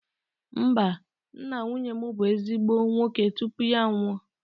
Mba, nna nwunye m bụ ezigbo nwoke tupu ya anwụọ